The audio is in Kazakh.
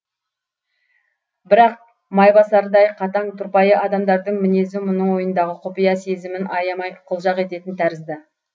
бірақ майбасардай қатаң тұрпайы адамдардың мінезі мұның ойындағы құпия сезімін аямай қылжақ ететін тәрізді